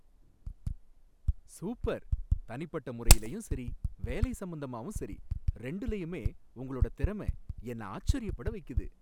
Super. தனிப்பட்ட முறையிலயும் சரி, வேலை சம்பந்தமாவும் சரி, ரெண்டுலயுமே உங்களோட திறமை என்ன ஆச்சரியப்பட வைக்குது.